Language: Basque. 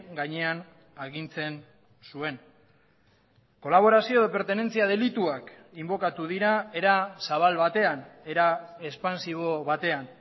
gainean agintzen zuen kolaborazio pertenentzia delituak inbokatu dira era zabal batean era expansibo batean